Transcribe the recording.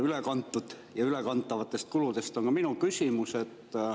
Ülekantud ja ülekantavate kulude kohta on minu küsimus.